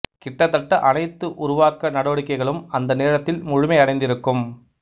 கிட்டத்தட்ட அனைத்து உருவாக்க நடவடிக்கைகளும் அந்த நேரத்தில் முழுமை அடைந்திருக்கும்